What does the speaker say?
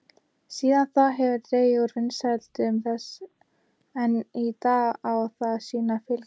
Síðan þá hefur dregið úr vinsældum þess en enn í dag á það sína fylgjendur.